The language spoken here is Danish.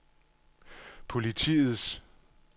politiets